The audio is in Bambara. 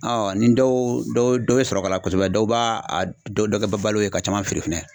nin dɔw dɔ dɔ bɛ sɔrɔ k'a la kosɛbɛ dɔw ba a dɔ dɔ kɛ balo ye ka caman feere fɛnɛ.